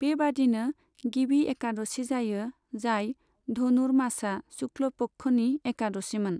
बेबादिनो गिबि एकादशि जायो, जाय धनुरमासा शुक्ल पक्षनि एकादशिमोन।